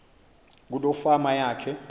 kuloo fama yakhe